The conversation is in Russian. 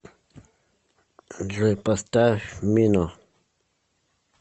джой поставь мино